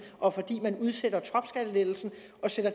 og fordi man udsætter topskattelettelsen